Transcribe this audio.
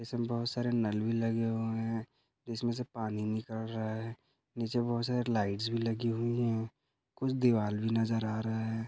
इसमे बहुत सारे नल भी लगे हुए है इसमे से पानी निकल रहा है नीचे बहुत सारे लाइट्स भी लगी हुई है कुछ दीवाल भी नजर आ रहा है।